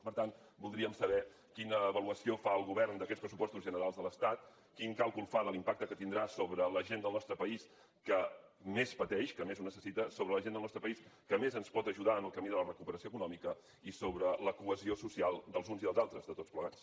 per tant voldríem saber quina avaluació fa el govern d’aquests pressupostos generals de l’estat quin càlcul fa de l’impacte que tindrà sobre la gent del nostre país que més pateix que més ho necessita sobre la gent del nostre país que més ens pot ajudar en el camí de la recuperació econòmica i sobre la cohesió social dels uns i els altres de tots plegats